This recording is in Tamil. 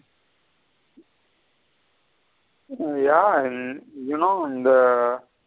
யா you know இந்த.